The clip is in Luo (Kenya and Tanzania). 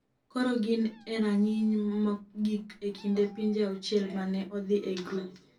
Koro gin e rang’iny mogik e kind pinje auchiel ma ne odhi e grup.